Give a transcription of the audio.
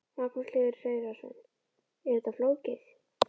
Magnús Hlynur Hreiðarsson: Er þetta flókið?